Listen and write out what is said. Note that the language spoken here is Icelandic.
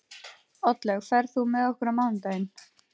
Oddlaug, ferð þú með okkur á mánudaginn?